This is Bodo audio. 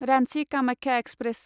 रान्चि कामाख्या एक्सप्रेस